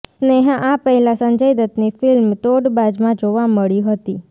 સ્નેહા આ પહેલાં સંજય દત્તની ફિલ્મ તોડબાજમાં જોવા મળી હતી